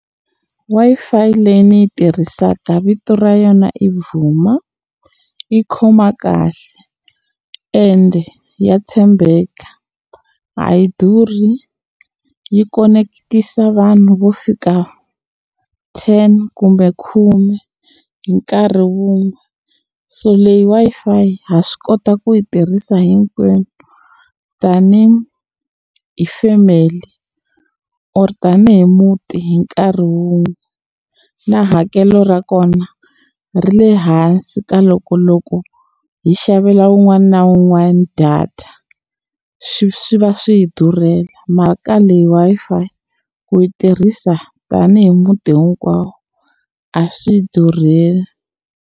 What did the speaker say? Wi-Fi leyi ni yi tirhisaka vito ra yona i Vuma yi khoma kahle ende ya tshembeka a yi durhi yi koneketisa vanhu vo fika ten kumbe khume hi nkarhi wun'we so leyi Wi-Fi ha swi kota ku yi tirhisa hinkwenu tanihi family or tanihi muti hi nkarhi wun'we na hakelo ra kona ri le hansi ka loko loko hi xavela wun'wana na wun'wana data swi swi va swi hi durhela mara ka leyi Wi-Fi ku yi tirhisa tanihi muti hinkwawo a swi hi durheli.